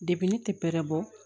ne tɛ bɛrɛ bɔ